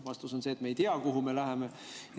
Vastus on see, et me ei tea, kuhu me läheme.